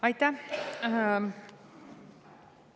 Aitäh!